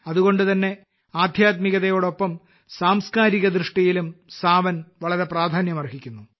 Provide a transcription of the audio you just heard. അതുകൊണ്ടുതന്നെ ആദ്ധ്യാത്മികതയോടൊപ്പം സാംസ്കാരികദൃഷ്ടിയിലും സാവൻ വളരെ പ്രാധാന്യമർഹിക്കുന്നു